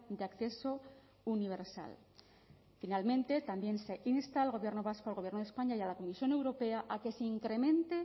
de acceso universal finalmente también se insta al gobierno vasco al gobierno de españa y a la comisión europea a que se incremente